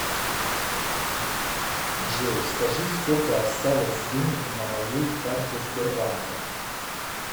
джой скажи сколько осталось денег на моей карте сбербанка